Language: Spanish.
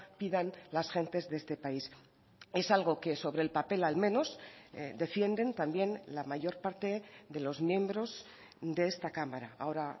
pidan las gentes de este país es algo que sobre el papel al menos defienden también la mayor parte de los miembros de esta cámara ahora